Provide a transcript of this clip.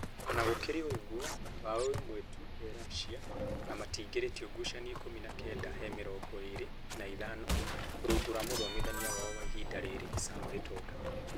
Ona gũkĩrĩ ũguo, mbaũ ĩmwe tu he Russia na matiingiritio ngucanio ikũmi na kenda he mĩrongo ĩrĩ na ithano rungu rwa mũthomithania wao wa ihinda rĩrĩ ,Sam Gitonga